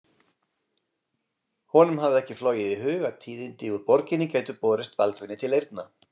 Honum hafði ekki flogið í hug að tíðindi úr borginni gætu borist Baldvini til eyrna.